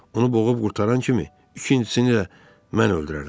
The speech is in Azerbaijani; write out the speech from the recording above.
Onu boğub qurtaran kimi ikincisini də mən öldürərəm.